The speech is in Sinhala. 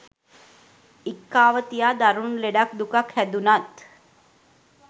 ඉක්කාව තියා දරුණු ලෙඩක් දුකක් හැදුනත්